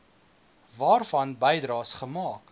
waarvan bydraes gemaak